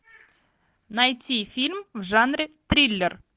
найти фильм в жанре триллер